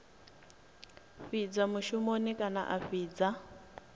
fhidza mushumoni kana a fhidza